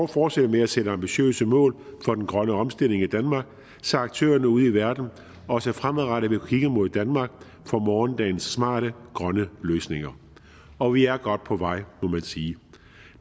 fortsætte med at sætte ambitiøse mål for den grønne omstilling i danmark så aktørerne ude i verden også fremadrettet vil kigge mod danmark for morgendagens smarte grønne løsninger og vi er godt på vej må man sige